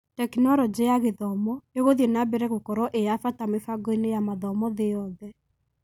Tekinoronjĩ ya Gĩthomo ĩgũthiĩ nambere gũkorwo ĩyabata mĩbangoinĩ ya mathomo thĩ yothe.